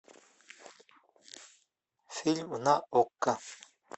фильм на окко